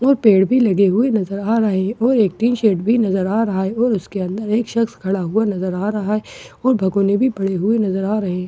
दो पेड़ भी लगे हुए नज़र आ रहे है और एक टीन शेड भी नज़र आ रहा है और उसके अंदर एक शख़्स खड़ा हुआ नज़र आ रहा है और भगौने भी पड़े नजर आ रहे हैं--